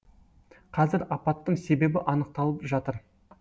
қазір апаттың себебі анықталып жатыр